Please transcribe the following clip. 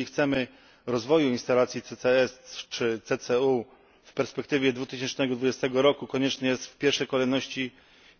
Jeżeli chcemy rozwoju instalacji CCS czy CCU do 2020 roku, konieczne jest w pierwszej kolejności